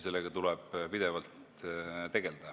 Sellega tuleb pidevalt tegelda.